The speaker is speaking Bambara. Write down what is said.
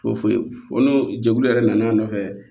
Foyi foyi fo n'o jɛkulu yɛrɛ nana a nɔfɛ